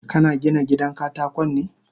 Kana Gina gidan katakon ne?